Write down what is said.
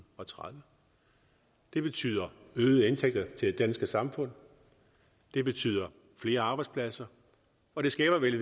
og tredive det betyder øgede indtægter til det danske samfund det betyder flere arbejdspladser og det skaber vel i